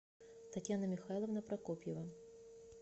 татьяна михайловна прокопьева